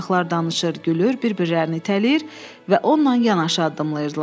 Uşaqlar danışır, gülür, bir-birlərini itələyir və onunla yanaşı addımlayırdılar.